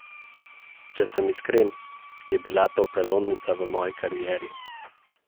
Če sem iskren, je bila to prelomnica v moji karieri.